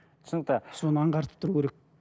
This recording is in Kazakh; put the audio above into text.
түсінікті соны аңғартып тұру керек